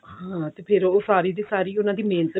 ਹਾਂ ਫ਼ੇਰ ਉਹ ਸਾਰੀ ਦੀ ਸਾਰੀ ਉਹਨਾਂ ਦੀ ਮਿਹਨਤ